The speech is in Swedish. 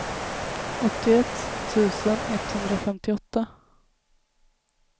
åttioett tusen etthundrafemtioåtta